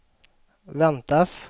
väntas